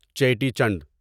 چیٹی چنڈ